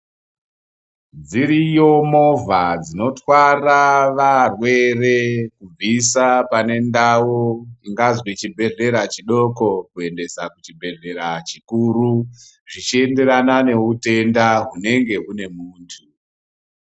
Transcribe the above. Dziriyo movha dzinotwara varwere kubvisa panendau ingazwi chibhedhlera chidoko kuendeswa kuchibhedhlera chikuru, zvichienderana neutenda hunenge hune muntu.